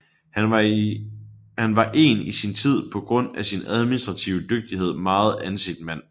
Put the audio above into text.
Han var en i sin tid på grund af sin administrative dygtighed meget anset mand